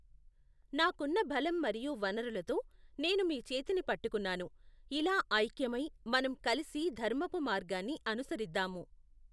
నాకున్న బలం మరియు వనరులతో, నేను మీ చేతిని పట్టుకున్నాను, ఇలా ఐక్యమై, మనం కలిసి ధర్మపు మార్గాన్ని అనుసరిద్దాము.